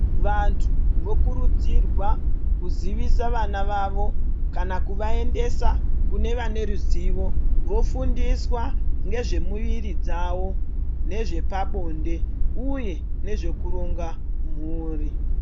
Vantu vokurudzirwa kuziviswa vava vavo kana kubaendesa kune vane ruzivo vofundiswa ngezvemwiri dzavo nezvepabonde uye nezvekuronga mhuri.